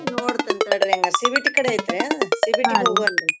ನೋಡ್ತನ್ ತಡ್ರಿ ಹಂಗಾರ CBT ಕಡೆ ಐತ್ರಾ ಅದ CBT ಹೋಗ್ವಲ್ಲೆ